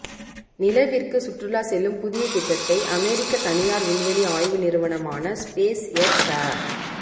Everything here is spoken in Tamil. நிலவிற்கு சுற்றுலா செல்லும் புதிய திட்டத்தை அமெரிக்க தனியார் விண்வெளி ஆய்வு நிறுவனமான ஸ்பேஸ் எக்ஸ் அ